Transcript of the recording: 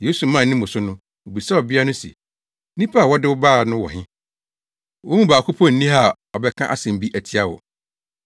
Yesu maa ne mu so no, obisaa ɔbea no se, “Nnipa a wɔde wo bae no wɔ he? Wɔn mu baako mpo nni ha a ɔbɛka asɛm bi atia wo?”